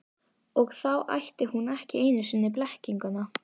Og þá ætti hún ekki einu sinni blekkinguna.